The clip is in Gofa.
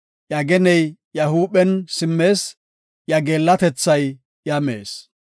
Iya geney iya huuphen simmees. Iya geellatethay iya mees.